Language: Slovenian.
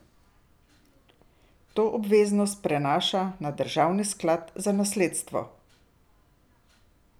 To obveznost prenaša na državni sklad za nasledstvo.